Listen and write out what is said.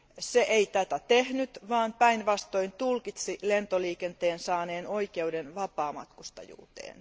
Se ei tätä tehnyt, vaan päinvastoin tulkitsi lentoliikenteen saaneen oikeuden vapaamatkustajuuteen.